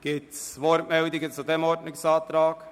Gibt es Wortmeldungen zu diesem Ordnungsantrag?